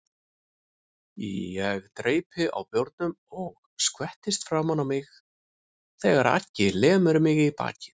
Ég dreypi á bjórnum og skvettist framan á mig þegar Aggi lemur mig í bakið.